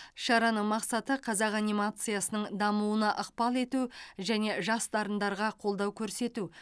шараның мақсаты қазақ анимациясының дамуына ықпал ету және жас дарындарға қолдау көрсету